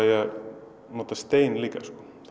að nota stein líka